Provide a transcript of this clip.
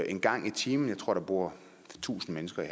en gang i timen jeg tror der bor tusind mennesker i